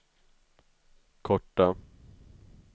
korta